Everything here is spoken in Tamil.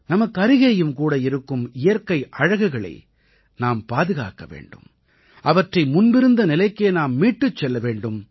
நமக்கருகேயும் கூட இருக்கும் இயற்கை அழகுகளை நாம் பாதுகாக்க வேண்டும் அவற்றை முன்பிருந்த நிலைக்கே நாம் மீட்டுச் செல்ல வேண்டும்